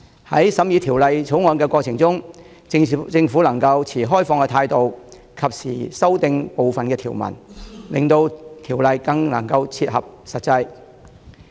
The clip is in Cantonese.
在審議《條例草案》的過程中，政府若能持開放態度，及時修訂部分條文，有助令條例更切合實際情況。